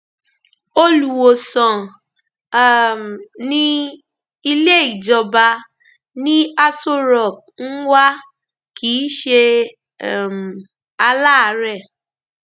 olùwòsàn um ní ilé ìjọba ni aṣọ rock ń wá kì í ṣe um aláàárẹ